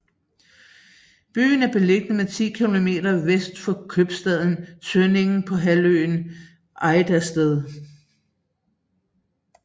Byen er beliggende ti kilometer vest for købstaden Tønning på halvøen Ejdersted